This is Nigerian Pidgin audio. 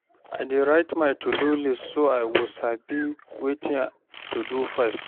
I dey write my to do list so I go sabi wetin to do first.